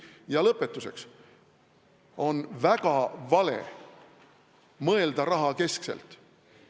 Ja lõpetuseks: on väga vale mõelda rahakeskselt.